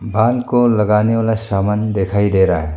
बाल को लगाने वाला सामान दिखाई दे रहा है।